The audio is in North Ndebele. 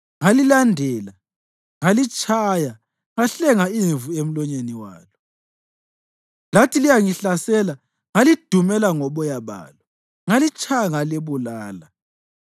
ngalilandela, ngalitshaya ngahlenga imvu emlonyeni walo. Lathi liyangihlasela ngalidumela ngoboya balo, ngalitshaya ngalibulala.